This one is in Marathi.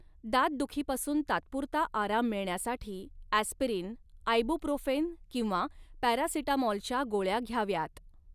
दातदुखीपासून तात्पुरता आराम मिळण्यासाठी ॲस्पिरिन, आयबूप्रोफेन किंवा पॅरासिटामॉलच्या गोळया घ्याव्यात.